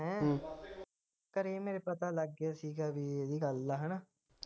ਹੈਂ ਘਰੇ ਮੇਰੇ ਪਤਾ ਲੱਗ ਗਿਆ ਸੀ ਗਾ ਵੀ ਇਹਦੀ ਗੱਲ ਦਾ